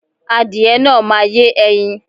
Adìyẹ náà máa yé ẹyin.